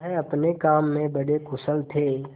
वह अपने काम में बड़े कुशल थे